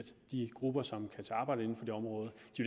de grupper som kan tage arbejde inden for det område